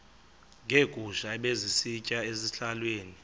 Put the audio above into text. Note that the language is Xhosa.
neegusha ebezisitya ezihlahleni